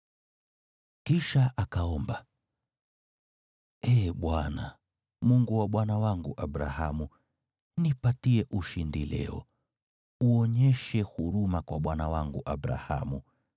Kisha akaomba, “Ee Bwana , Mungu wa bwana wangu Abrahamu, nipatie ushindi leo, uonyeshe huruma kwa bwana wangu Abrahamu.